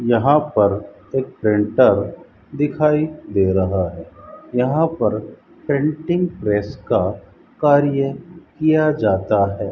यहां पर एक प्रिंटर दिखाई दे रहा है यहां पर प्रिंटिंग प्रेस का कार्य किया जाता है।